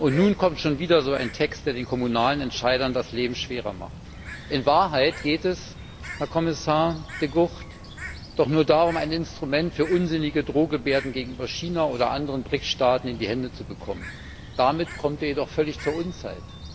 Und nun kommt schon wieder so ein Text, der den kommunalen Entscheidern das Leben schwerer macht. In Wahrheit geht es, Herr Kommissar De Gucht, doch nur darum, ein Instrument für unsinnige Drohgebärden gegenüber China oder anderen BRIC Staaten in die Hände zu bekommen. Damit kommt der Text jedoch völlig zur Unzeit.